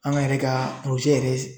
An ka yɛrɛ ka yɛrɛ